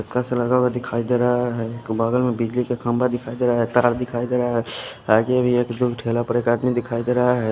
का लगा हुआ दिखाई दे रहा है बगल में बिजली का खंबा दिखाई दे रहा है तार दिखाई दे रहा है आगे भी एक दो ठेला पर आदमी दिखाई दे रहा है।